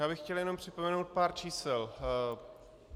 Já bych chtěl jenom připomenout pár čísel.